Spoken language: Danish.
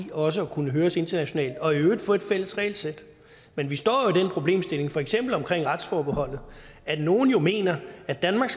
også at kunne høres internationalt og i øvrigt få et fælles regelsæt men vi står i den problemstilling for eksempel retsforbeholdet at nogle jo mener at danmark